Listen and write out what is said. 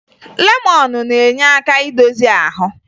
Lemọn na-enye aka idozi ahụ